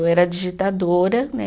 Eu era digitadora, né?